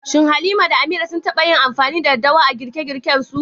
Shin Halima da Amira sun taɓa yin amfani da daddawa a girke-girkensu?